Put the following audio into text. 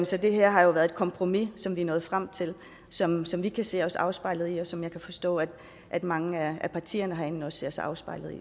så det her har jo været et kompromis som vi er nået frem til som som vi kan se os afspejlet i og som jeg kan forstå at at mange af partierne herinde også ser sig afspejlet